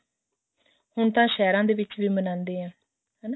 ਹੁਣ ਤਾਂ ਸਹਿਰਾਂ ਦੇ ਵਿੱਚ ਵੀ ਮਨਾਉਂਦੇ ਹਾਂ ਹਨਾ